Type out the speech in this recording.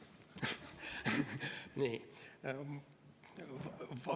Nii.